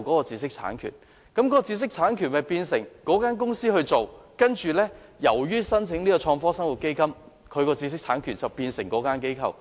知識產權原本由該公司所擁有，卻因為申請創科生活基金，而拱手讓予相關申請機構。